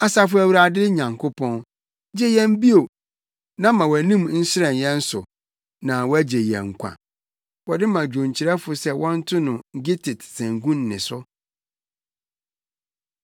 Asafo Awurade Nyankopɔn, gye yɛn bio, na ma wʼanim nhyerɛn yɛn so, na wɔagye yɛn nkwa. Wɔde ma dwonkyerɛfo sɛ wɔnto sɛ “gittit” sanku nne so.